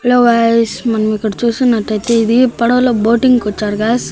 Hello guys మనం ఇక్కడ చూస్తున్నట్లయితే ఇది పడవలో బోటింగ్ కి వచ్చారు గాయ్స్ .